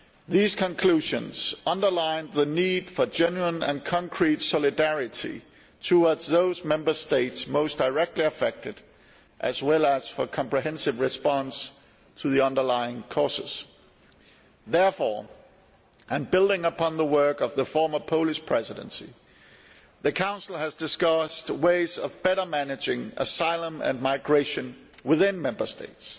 These conclusions underlined the need for genuine and concrete solidarity towards those Member States most directly affected, as well as for a comprehensive response to the underlying causes. Therefore, and building upon the work of the former Polish Presidency, the Council has discussed ways of better managing asylum and migration within Member States,